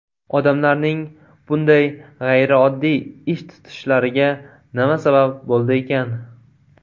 Odamlarning bunday g‘ayrioddiy ish tutishlariga nima sabab bo‘ldi ekan?